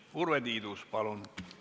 Urve Tiidus, palun!